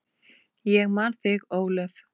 Ég man þig, Ólöf.